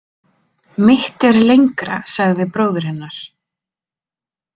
Mitt er lengra, sagði bróðir hennar.